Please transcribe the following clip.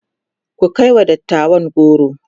ku kaiwa dattawan goro!